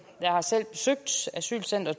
asylcenter